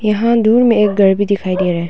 यहां दूर में एक घर भी दिखाई दे रहा हैं।